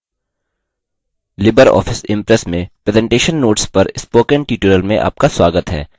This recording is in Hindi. लिबर ऑफिस impress में presentation notes पर spoken tutorial में आपका स्वागत है